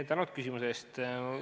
Tänan küsimuse eest!